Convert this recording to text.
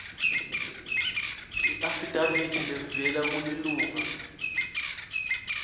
iafidavithi levela kulilunga